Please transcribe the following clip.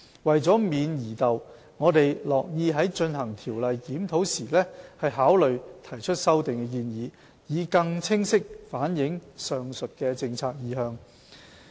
為免疑竇，我們樂意在進行《條例》的檢討時考慮提出修訂建議，以更清晰反映上述的政策意向。